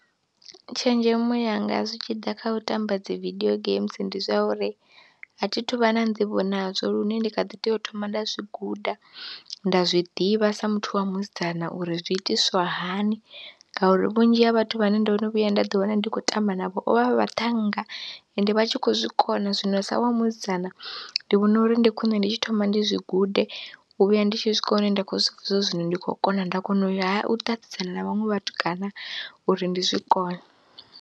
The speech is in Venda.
Tshenzhemo yanga zwi tshi ḓa kha u tamba dzi vidio games ndi zwa uri a thi thu vha na nḓivho nazwo lune ndi kha ḓi tea u thoma nda zwi guda, nda zwi ḓivha sa muthu wa musidzana uri zwi itiswa hani ngauri vhunzhi ha vhathu vhane ndo no vhuya nda ḓiwana ndi khou tamba navho vho vha vhaṱhannga ende vha tshi khou zwi kona, zwino sa wa musidzana ndi vhona uri ndi khwine ndi tshi thoma ndi zwi gude, u vhuya ndi tshi swika hune nda khou zwi pfha zwa uri zwino ndi khou kona, nda kona u ya ha u ṱaṱisana na vhaṅwe vhatukana uri ndi zwi kone.